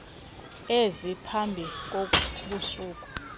ezine phambi kosuku